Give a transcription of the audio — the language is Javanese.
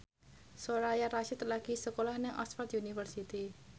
Soraya Rasyid lagi sekolah nang Oxford university